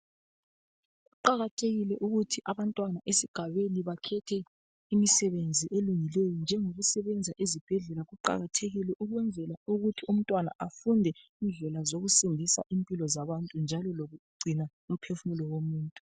Kuqakathekile ukuthi abantwana esigabeni bakhethe imisebenzi elungileyo njengekusebenza esibhedlela kuqakathekile ukwenzela ukuthi umntwana afunde indlela zokusindisa impilo zabantu njalo lokugcina umphefumulo womuntu